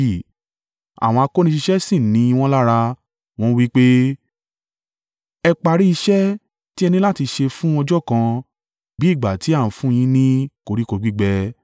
Àwọn akóniṣiṣẹ́ sì ń ni wọ́n lára, wọ́n wí pé, “Ẹ parí iṣẹ́ tí ẹ ni láti ṣe fún ọjọ́ kan bí ìgbà ti a ń fún un yin ní koríko gbígbẹ.”